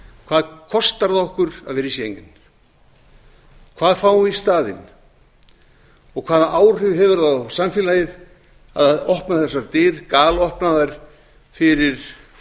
hvað kostar okkur að vera í schengen hvað fáum við í staðinn og hvaða áhrif hefur það á samfélagið að opna þessar dyr galopna þær fyrir